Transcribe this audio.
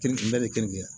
Keren keleya